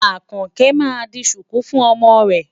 Àkànkẹ́ máa di ṣùkú fún ọmọ rẹ̀.